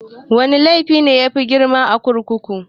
Wana laifi ne yafi grima a kurkuku?